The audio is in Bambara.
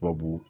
Tubabu